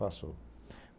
Passou.